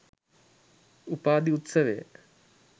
උපාධි උත්සවය